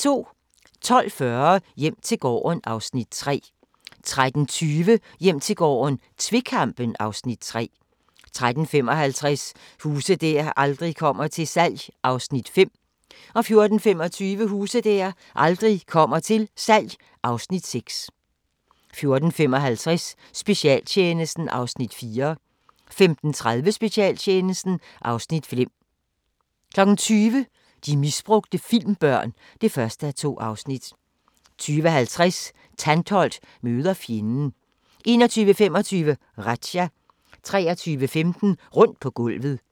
12:40: Hjem til gården (Afs. 3) 13:20: Hjem til gården - tvekampen (Afs. 3) 13:55: Huse der aldrig kommer til salg (Afs. 5) 14:25: Huse der aldrig kommer til salg (Afs. 6) 14:55: Specialtjenesten (Afs. 4) 15:30: Specialtjenesten (Afs. 5) 20:00: De misbrugte filmbørn (1:2) 20:50: Tantholdt møder fjenden 21:25: Razzia 23:15: Rundt på gulvet